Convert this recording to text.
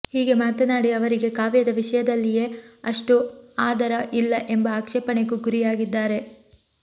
ಹೀಗೆ ಮಾತನಾಡಿ ಅವರಿಗೆ ಕಾವ್ಯದ ವಿಷಯದಲ್ಲಿಯೇ ಅಷ್ಟು ಆದರ ಇಲ್ಲ ಎಂಬ ಆಕ್ಷೇಪಣೆಗೂ ಗುರಿಯಾಗಿದ್ದಾರೆ